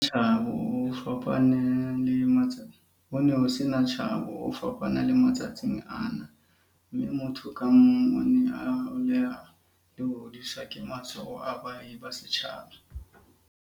"Ho ne ho se na tshabo, ho fapana le matsatsing ana, mme motho ka mong o ne a holela le ho hodiswa ke matsoho a baahi ba setjhaba."